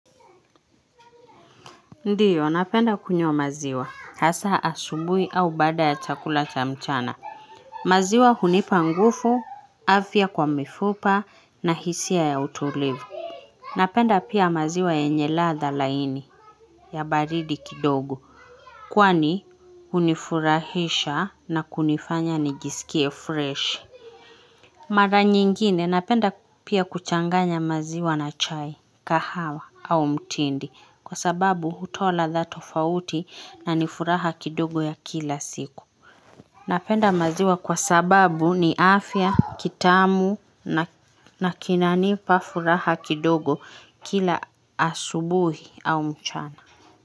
Ndiyo, napenda kunywa maziwa, hasa asubuhi au baada ya chakula cha mchana. Maziwa hunipa nguvu, afya kwa mifupa na hisia ya utulivu. Napenda pia maziwa yenye ladhaa laini ya baridi kidogo. Kwani, hunifurahisha na kunifanya nijisikie freshi. Mara nyingine, napenda pia kuchanganya maziwa na chai, kahawa au mtindi. Kwa sababu hutoa ladha tofauti nanifuraha kidogo ya kila siku. Napenda maziwa kwa sababu ni afya, kitamu na kinanipa furaha kidogo kila asubuhi au mchana.